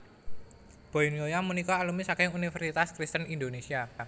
Boy Noya punika alumni saking Universitas Kristen Indonesia